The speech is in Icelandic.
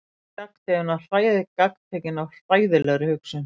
Elías gagntekinn af hræðilegri hugsun.